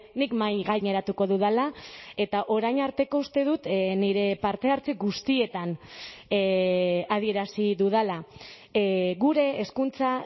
nik mahai gaineratuko dudala eta orain arteko uste dut nire partehartze guztietan adierazi dudala gure hezkuntza